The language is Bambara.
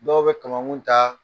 Dɔw bɛ kamankun ta